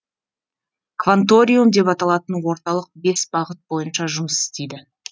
кванториум деп аталатын орталық бес бағыт бойынша жұмыс істейді